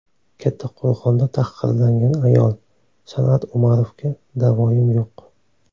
Kattaqo‘rg‘onda tahqirlangan ayol: San’at Umarovga da’voyim yo‘q.